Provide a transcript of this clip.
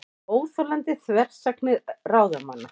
Óþolandi þversagnir ráðamanna